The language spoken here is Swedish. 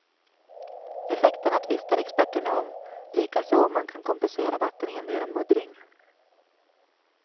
Effekterna tvistar experterna om, likaså om man kan kompensera vattenhinder genom muddring.